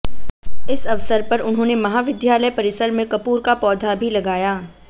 इस अवसर पर उन्होंने महाविद्यालय परिसर में कपूर का पौधा भी लगाया